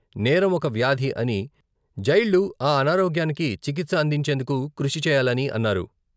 నేరం ఒక వ్యాధి అని జైళ్లు ఆ అనారోగ్యానికి చికిత్స అందించేందుకు కృషి చేయాలని అన్నారు.